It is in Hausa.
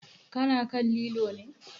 Ka na kan lilo ne?